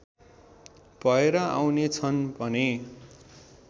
भएर आउनेछन् भने